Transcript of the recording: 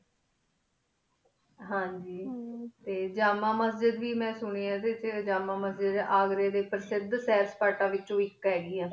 ਹਨ ਜੀ ਹਮਮ ਜਿਮ ਮਸਜਿਦ ਅਘ੍ਰੀ ਡੀ ਪਾਸ਼ੇਡ ਕਾਟਨ ਵੇਚੁਨ ਆਇਕ ਹੀ ਗੀ